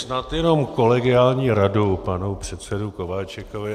Snad jenom kolegiální radu panu předsedovi Kováčikovi.